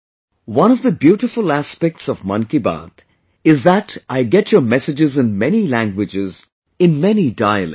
one of the beautiful aspects of 'Mann Ki Baat' is that I get your messages in many languages, in many dialects